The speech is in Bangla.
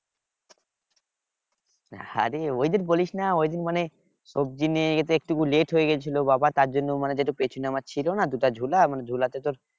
আরে অইদিন বলিস না ঐদিন মানে সবজি নিয়ে যেতে একটু late হয়ে গেছিল বাবা তার জন্য মানে যেটুক পেছনে আমার ছিল না দুটা ঝুলা ঝুলাতে তোর